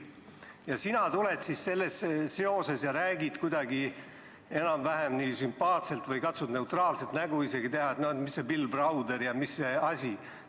Aga sina tuled ja räägid kuidagi enam-vähem sümpaatselt või katsud isegi neutraalset nägu teha, et mis Bill Browder ja mis asi.